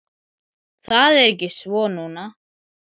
Það er ekki svo núna.